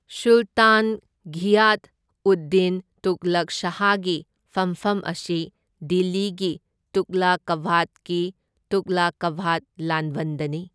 ꯁꯨꯜꯇꯥꯟ ꯘꯤꯌꯥꯊ ꯎꯗ ꯗꯤꯟ ꯇꯨꯘꯂꯨꯛ ꯁꯥꯍꯒꯤ ꯐꯨꯝꯐꯝ ꯑꯁꯤ ꯗꯤꯜꯂꯤꯒꯤ ꯇꯨꯘꯂꯀꯥꯕꯥꯗꯀꯤ ꯇꯨꯘꯂꯀꯥꯕꯥꯗ ꯂꯥꯟꯕꯟꯗꯅꯤ꯫